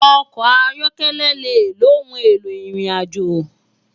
Òkò áyòkèlè jè óoùn éló irinàjó